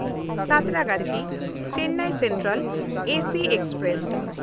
ᱥᱟᱸᱛᱨᱟᱜᱟᱪᱷᱤ–ᱪᱮᱱᱱᱟᱭ central AC express